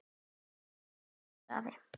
Takk fyrir allt, elsku afi.